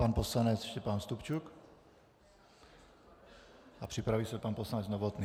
Pan poslanec Štěpán Stupčuk a připraví se pan poslanec Novotný.